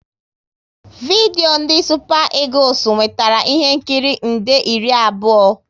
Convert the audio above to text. Vidio ndị Supa Egules nwetara ihe nkiri nde iri abụọ